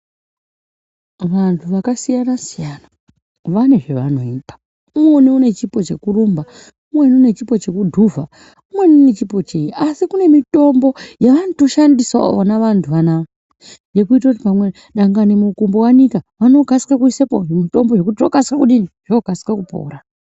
Vantu vakasiyana siyana vane zvavanoita umweni ane chipo chekurumba umweni Une chipo chekudhuvha umweni ane chipo chei asi kune mitombo yavanoshandisa vantu ava kana kumukombo wanika vanokasika kuisa zvimutombo kuti akasike kudini akasire kupora.